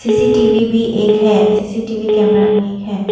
CCTV भी एक है सी_सी_टी_वी कैमरा भी एक है।